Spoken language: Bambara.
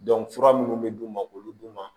fura minnu bɛ d'u ma k'olu d'u ma